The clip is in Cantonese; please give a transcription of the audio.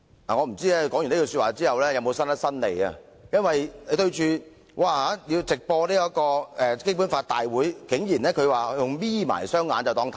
我不知道她說罷有否伸伸舌頭，因為面對直播的問題，她的反應竟然是"'瞇'起雙眼便看不見"。